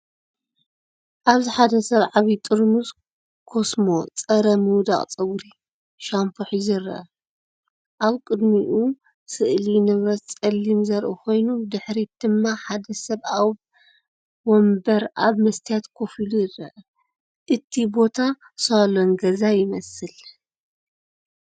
ኣብዚ ሓደ ሰብ ዓቢ ጥርሙዝ ኮስሞ ጸረ ምውዳቕ ጸጉሪ ሻምፖ ሒዙ ይርአ። ኣብ ቅድሚኡ ስእሊ ንብረት ጸሊም ዘርኢ ኮይኑ፡ ብድሕሪት ድማ ሓደ ሰብ ኣብ መንበር ኣብ መስትያት ኮፍ ኢሉ ይርአ። እቲ ቦታ ሳሎን ገዛ ይመስል።